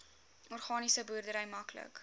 organiese boerdery maklik